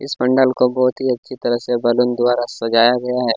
इस पंडाल जो बहोत ही अच्छी तरह बलून से सजाया गया है।